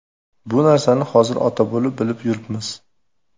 Bu narsani hozir ota bo‘lib, bilib yuribmiz.